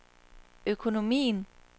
økonomien